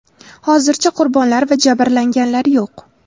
Hozircha qurbonlar va jabrlanganlar yo‘q.